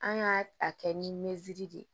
An y'a a kɛ ni meri de ye